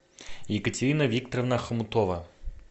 екатерина викторовна хомутова